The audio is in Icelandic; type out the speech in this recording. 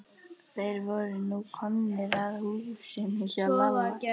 Þeir voru nú komnir að húsinu heima hjá Lalla.